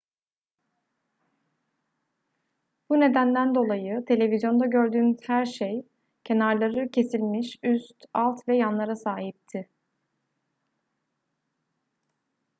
bu nedenden dolayı televizyonda gördüğünüz her şey kenarları kesilmiş üst alt ve yanlara sahipti